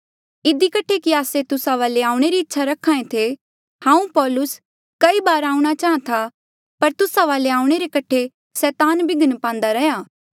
इधी कठे कि आस्से तुस्सा वाले आऊणें री इच्छा रख्हा ऐें थे हांऊँ पौलुस कई बार आऊंणा चाहां था पर तुस्सा वाले आऊणें रे कठे सैतान बिघ्न पांदा रैंहयां